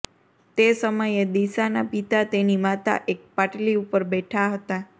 તે સમયે દિશાના પિતા તેની માતા એક પાટલી ઉપર બેઠા હતા